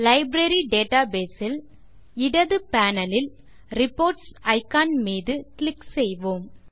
library database இல் இடது panel லில் ரிப்போர்ட்ஸ் இக்கான் மீது கிளிக் செய்வோம்